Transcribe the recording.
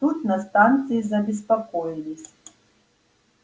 тут на станции забеспокоились